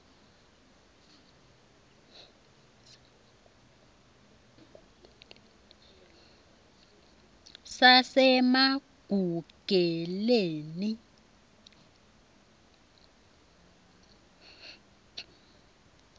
sasemagugeleni